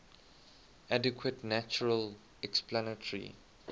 adequate natural explanatory